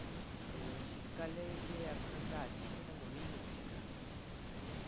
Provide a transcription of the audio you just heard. তো শীতকালে যে এখন আমরা আছি সেটা মনেই হচ্ছে না, মানে